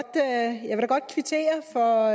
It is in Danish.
godt kvittere for